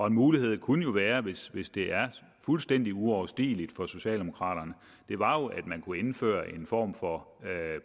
en mulighed kunne være hvis hvis det er fuldstændig uoverstigeligt for socialdemokraterne at indføre en form for